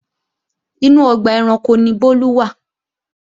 Inú ọgbà ẹranko ni Bólú wà